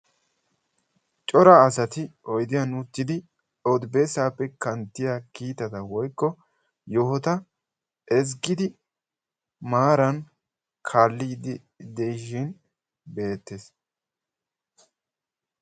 Cora asari oydiyaan uttidi odi bessaappe kanttiyaa kiitata woykko yohota ezggidi maaran kaalliidi de'ishin beettees.